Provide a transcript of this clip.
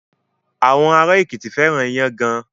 Àwọn ará Èkìtì fẹ́ràn iyán gan.